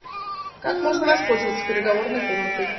как можно воспользоваться переговорной комнатой